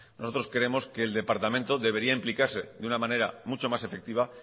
nosotros creemos que el departamento debería implicarse de una manera mucho más efectiva